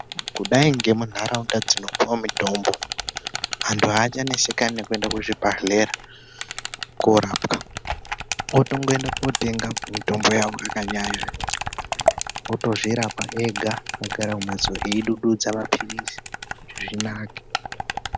Kudai ngemunharaunda dzinopuwa mitombo antu achanesekani nekuenda kuzvibhehlera korapw otongoenda kotenga mitombo yawo otozvirapa ega akagara kumhatso eidududza mapilizi kuti zvinake.